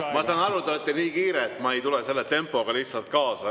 Ma saan aru, et te olete nii kiire, et ma ei tule selle tempoga lihtsalt kaasa.